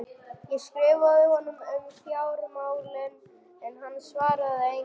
Ég skrifaði honum um fjármálin en hann svaraði engu.